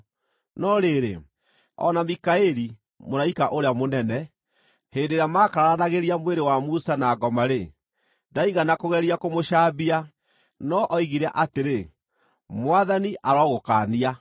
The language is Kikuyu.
No rĩrĩ, o na Mikaeli, mũraika ũrĩa mũnene, hĩndĩ ĩrĩa maakararanagĩria mwĩrĩ wa Musa na ngoma-rĩ, ndaigana kũgeria kũmũcambia, no oigire atĩrĩ, “Mwathani arogũkaania!”